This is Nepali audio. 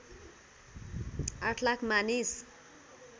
८ लाख मानिस